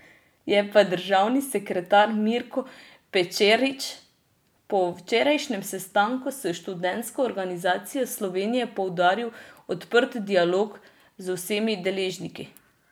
Je pa državni sekretar Mirko Pečarič po včerajšnjem sestanku s Študentsko organizacijo Slovenije poudaril odprt dialog z vsemi deležniki.